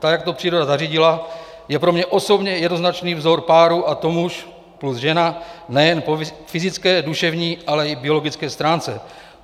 Tak jak to příroda zařídila, je pro mě osobně jednoznačný vzor páru, a to muž plus žena, nejen po fyzické, duševní, ale i biologické stránce.